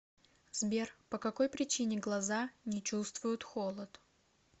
сбер по какой причине глаза не чувствуют холод